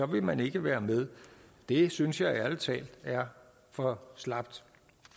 vil man ikke være med det synes jeg ærlig talt er for slapt